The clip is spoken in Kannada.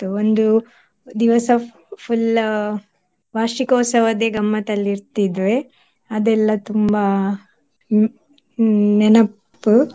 ಒಂದು ದಿವಸ full ವಾರ್ಷಿಕೋತ್ಸವದೇ ಗಮ್ಮತಲ್ಲಿರ್ತಿದ್ವಿ ಅದೆಲ್ಲ ತುಂಬಾ ಹ್ಮ್ ಹ್ಮ್ ನೆನೆಪು.